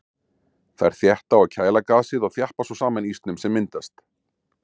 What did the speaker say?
Þær þétta og kæla gasið og þjappa svo saman ísnum sem myndast.